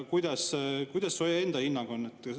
Missugune su enda hinnang on?